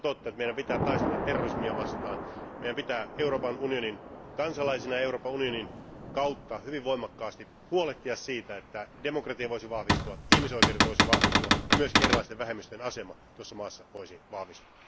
On totta, että meidän pitää taistella terrorismia vastaan, meidän pitää Euroopan unionin kansalaisina Euroopan unionin kautta hyvin voimakkaasti huolehtia siitä, että demokratia voisi vahvistua, ihmisoikeudet voisivat vahvistua ja myöskin erilaisten vähemmistöjen asema tuossa maassa voisi vahvistua.